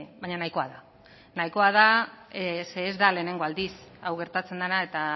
baina nahikoa da nahikoa da zeren ez da lehenengo aldiz hau gertatzen dena eta